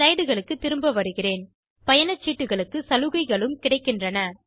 slideகளுக்கு திரும்ப வருவோம் பயணச்சீட்டுகளுக்கு சலுகைகளும் கிடைக்கின்றன